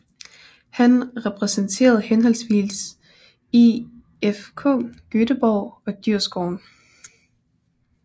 Han repræsenterede henholdsvis IFK Göteborg og Djurgården